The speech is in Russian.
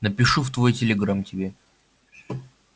напишу в твой телеграм тебе